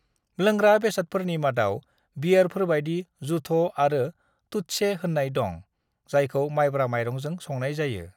"लोंग्रा बेसादफोरनि मादाव बियेरफोरबादि जुथ' आरो थुत्से होननाय दं, जायखौ माइब्रा माइरंजों संनाय जायो।"